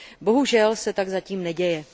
Bohužel se tak zatím neděje.